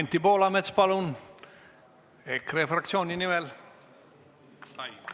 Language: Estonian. Anti Poolamets EKRE fraktsiooni nimel, palun!